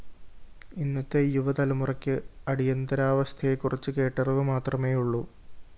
ഇന്നത്തെ യുവതലമുറയ്ക്ക് അടിയന്തരാവസ്ഥയെക്കുറിച്ച് കേട്ടറിവു മാത്രമേയുള്ളൂ